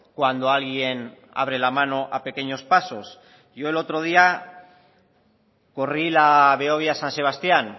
cuando alguien abre la mano a pequeños pasos yo el otro día corrí la behobia san sebastián